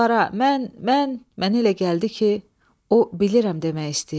Mən, mən, mənə elə gəldi ki, o bilirəm demək istəyirdi.